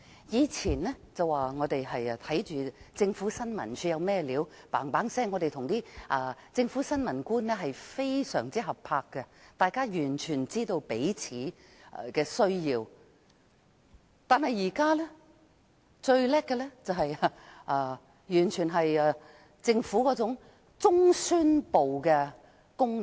以前，記者會留意新聞處提供的資料，並與新聞處的官員非常合拍，大家完全知道彼此的需要，但現時政府只發揮中央宣傳部的功能。